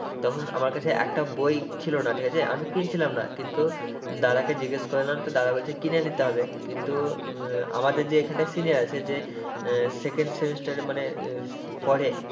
তখন আমার কাছে একটা বই ছিল না ঠিক আছে, আমি কিনছিলাম না, কিন্তু দাদাকে জিগেস করে এলাম তো দাদা বলছে কিনে নিতে হবে। কিন্তু আমাদের যে এখানে senior যে second semester এ মানে পড়ে,